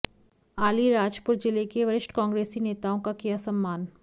आलीराजपुर जिले के वरिष्ठ कांग्रेसी नेताओं का किया सम्मान